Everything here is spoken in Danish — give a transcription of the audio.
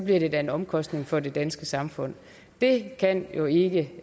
det da en omkostning for det danske samfund det kan jo ikke